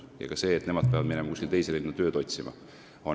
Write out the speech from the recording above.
Ka nende jaoks on väga raske see, et nad peavad minema kuskile teise linna tööd otsima.